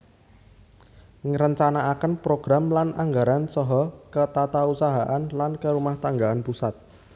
Ngrencanakaken program lan anggaran saha ketatausahaan lan kerumahtanggan pusat